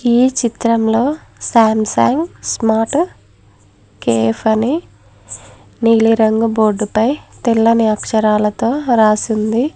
ఈ చిత్రంలో Samsung smart KF అని నీలి రంగు బోర్డు పై తెల్లని అక్షరాలతో రాసి ఉంది.